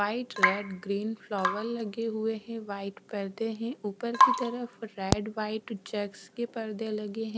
White red green flower लगे हुए हैं व्हाइट पर्दे हैं ऊपर की तरफ रेड व्हाइट चेक्स के पर्दे लगे हैं।